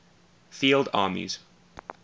field armies